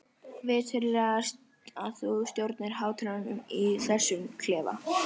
Viturlegast að þú stjórnir hlátrinum í þessum klefa.